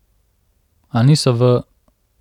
A niso v ...